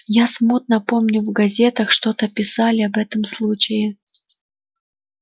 я смутно помню в газетах что-то писали об этом случае